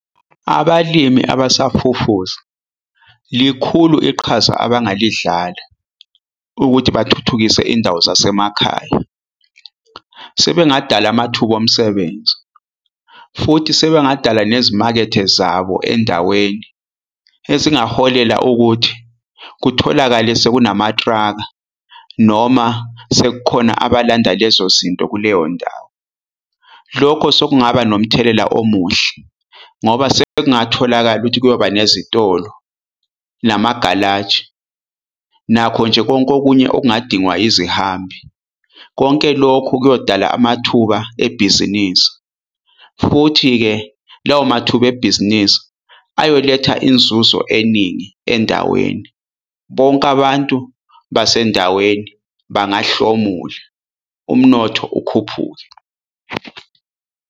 Abalimi abasafufusa likhulu iqhaza abangalidlala ukuthi bathuthukise indawo zasemakhaya. Sebengadala amathuba omsebenzi futhi sebengadala nezimakethe zabo endaweni, ezingaholela ukuthi kutholakale sekunama-trucker noma sekukhona abalandela lezozinto kuleyondawo. Lokho sekungaba nomthelela omuhle ngoba sekungatholakala ukuthi kuyoba nezitolo namagalaji nakho nje konke okunye okungadingwa izihambi. Konke lokhu kuyodala amathuba ebhizinisi, futhi-ke lawo mathuba ebhizinisi ayoletha inzuzo eningi endaweni. Bonke abantu basendaweni bangahlomula umnotho ukhuphuke.